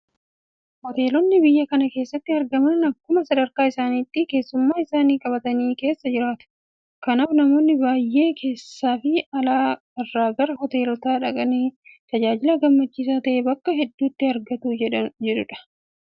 Hoteelonni biyya kana keessatti argaman akkuma sadarkaa isaaniitti keessummaa isaanii qabatanii keessa jiraatu. Kanaaf namoonni biyya keessaafi ala irraa gara hoteelotaa dhaqanii tajaajila gammachiisaa ta'e bakka hedduutti argatu jechuudha. Kanaaf abbootiin qabeenyaa Hoteela isaanii keessatti ofeeggannoo guddaatu irraa eegama.